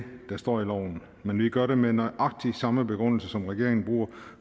der står i loven men vi gør det med nøjagtig samme begrundelse som den regeringen bruger